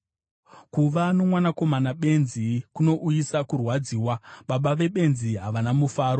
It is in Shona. Kuva nomwanakomana benzi kunouyisa kurwadziwa; baba vebenzi havana mufaro.